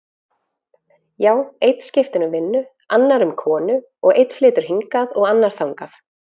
Já, einn skiptir um vinnu, annar um konu og einn flytur hingað og annar þangað.